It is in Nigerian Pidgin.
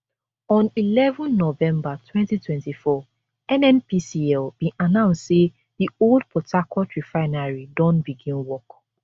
on eleven november 2024 nnpcl bin announce say di old port harcourt refinery don begin work